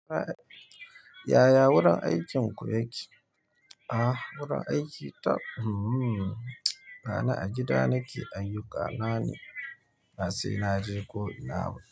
Yaya wurin aikinku yake? A wurin aiki tab. Hmmm. Bana a gida nake, aiyuka na ni. Ba sai naje ko ina ba.